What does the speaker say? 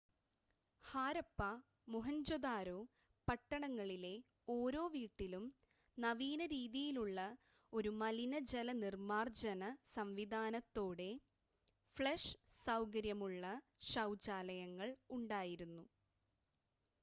ഹാരപ്പ മോഹൻജോദാരോ പട്ടണങ്ങളിലെ ഓരോ വീട്ടിലും നവീന രീതിയിലുള്ള ഒരു മലിനജല നിർമ്മാർജ്ജന സംവിധാനത്തോടെ ഫ്ലഷ് സൗകര്യമുള്ള ശൗചാലയങ്ങൾ ഉണ്ടായിരുന്നു